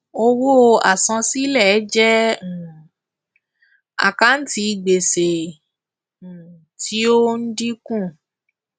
owó àsansílẹ jẹ àkántì gbèsè tí ó ń ń dínkù